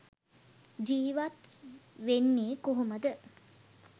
ජීවත් වෙන්නෙ කොහොමද?